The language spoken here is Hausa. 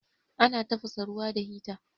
Ana tafasa ruwa da hita.